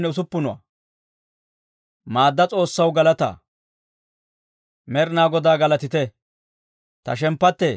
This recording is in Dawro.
Med'inaa Godaa galatite! Ta shemppattee Med'inaa Godaa galataa!